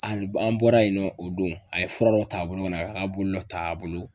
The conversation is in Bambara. An an bɔra yen nɔ o don ,a ye fura dɔ ta a bolo k'a bolo dɔ ta a bolo.